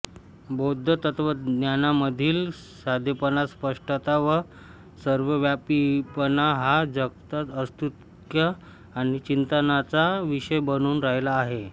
बौद्ध तत्त्वज्ञानामधील साधेपणा स्पष्टता व सर्वव्यापीपणा हा जगात औत्सुक्य आणि चिंतनाचा विषय बनून राहिला आहे